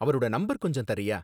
அவரோட நம்பர் கொஞ்சம் தர்றியா?